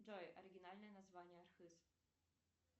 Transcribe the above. джой оригинальное название архыз